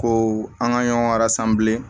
Ko an ka ɲɔgɔn bilen